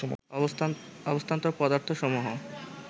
অবস্থান্তর পদার্থসমূহ